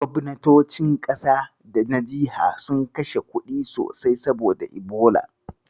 Gobnatocin ƙasa da na jiha sun kashe kuɗi sosai saboda Ebola.